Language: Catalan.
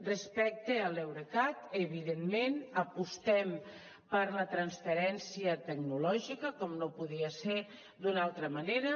respecte a l’eurecat evidentment apostem per la transferència tecnològica com no podia ser d’una altra manera